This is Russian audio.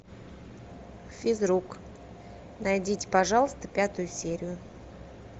физрук найдите пожалуйста пятую серию